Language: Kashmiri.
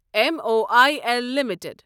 M O I L limited